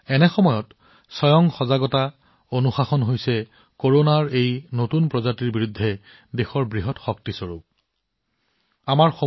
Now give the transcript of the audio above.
এনে পৰিস্থিতিত দেশখনৰ নিজৰ সজাগতা নিজৰ অনুশাসন কৰোনাৰ এই প্ৰকাৰৰ বিৰুদ্ধে এক বৃহৎ শক্তি হিচাপে বিবেচিত হৈছে